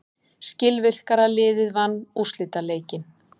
Skilvirkara liðið vann úrslitaleikinn.